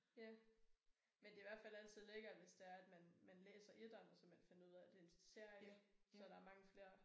Ja men det i hvert fald altid lækkert hvis det er er man man læser etteren og så man finder ud af det er en serie så der er mange flere